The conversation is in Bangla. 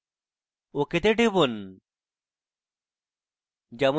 ok তে টিপুন